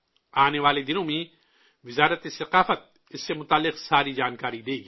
آنے والے دنوں میں وزارت ثقافت اس سے جڑی ساری جانکاری دے گی